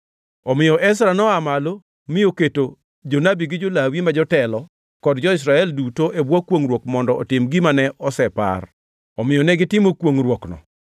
Omiyo Ezra noa malo mi oketo jonabi gi jo-Lawi ma jotelo kod jo-Israel duto e bwo kwongʼruok mondo otim gima ne osepar. Omiyo negitimo kwongʼruokno.